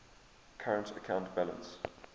current account balance